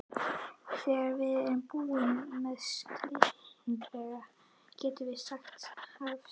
Þegar við erum búnir með skilgreiningarnar getur sagan hafist.